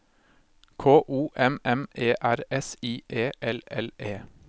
K O M M E R S I E L L E